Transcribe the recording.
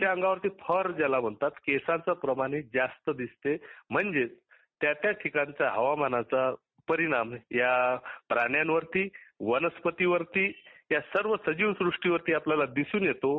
fur म्हणेच केसाचे प्रमाण जास्त दिसून येतो म्हणजेच त्या त्या ठिकाणच्या हवामानाचा परिणाम या प्राण्यांवरती वनस्पतीवरती या सर्व सजीव सृष्टी वरती आपल्याला दिसून येतो